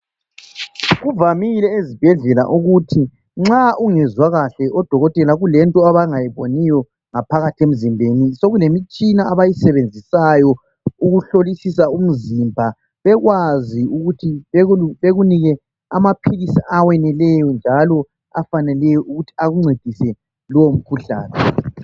Kuvamile ezibhedlela ukuthi nxa ungezwa kahle odokotela kulento abangayiboniyo ngaphakathi emzimbeni sekulemitshina abayisebenzisayo ukuhlolisisa umzimba bekwazi ukuthi bekunike amaphilisi aweneleyo njalo afaneleyo ukuthi akuncedise lomkhuhlane.